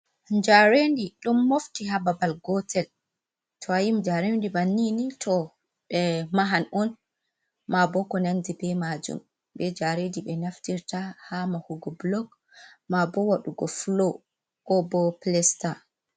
Njarendi ɗum mofti ha babal gotel, to a yii njarendi banni ni to ɓe mahan on, ma bo ko nandi be majun ɓe njaredi be naftirta ha mahugo blog ma bo waɗugo flo ko bo plesta.